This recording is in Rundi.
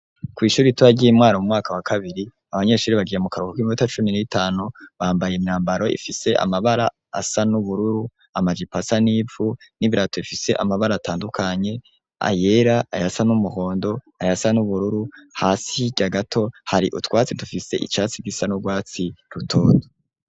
Kw'ishuri ritoyi ry'i Mwaro mu mwaka wa kabiri, abanyeshuri bagiye mu karuhuko k'iminota cumi n'itanu bambaye imyambaro ifise amabara asa n'ubururu, amajipo asa n'ivu n'ibirato ifise amabara atandukanye, ayera, ayasa n'umuhondo, ayasa n'ubururu, hasi hirya gato, hari utwatsi dufise icatsi gisa n'urwatsi rutoto.